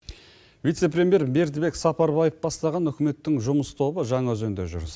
вице премьер бердібек сапарбаев бастаған үкіметтің жұмыс тобы жаңаөзенде жүр